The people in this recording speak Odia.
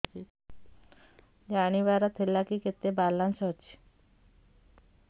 ଜାଣିବାର ଥିଲା କି କେତେ ବାଲାନ୍ସ ଅଛି